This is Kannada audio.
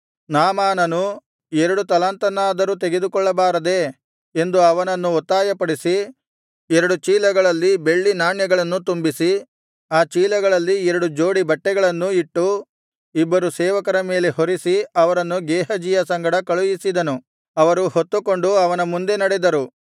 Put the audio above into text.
ನಾಮಾನನು ಎರಡು ತಲಾಂತನ್ನಾದರೂ ತೆಗೆದುಕೊಳ್ಳಬಾರದೆ ಎಂದು ಅವನನ್ನು ಒತ್ತಾಯಪಡಿಸಿ ಎರಡು ಚೀಲಗಳಲ್ಲಿ ಬೆಳ್ಳಿ ನಾಣ್ಯಗಳನ್ನು ತುಂಬಿಸಿ ಆ ಚೀಲಗಳಲ್ಲಿ ಎರಡು ಜೋಡಿ ಬಟ್ಟೆಗಳನ್ನೂ ಇಟ್ಟು ಇಬ್ಬರು ಸೇವಕರ ಮೇಲೆ ಹೊರಿಸಿ ಅವರನ್ನು ಗೇಹಜಿಯ ಸಂಗಡ ಕಳುಹಿಸಿದನು ಅವರು ಹೊತ್ತುಕೊಂಡು ಅವನ ಮುಂದೆ ನಡೆದರು